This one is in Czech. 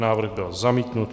Návrh byl zamítnut.